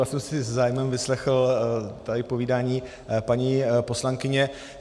Já jsem si se zájmem vyslechl tady povídání paní poslankyně.